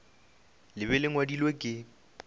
le be le ngwadilwe ke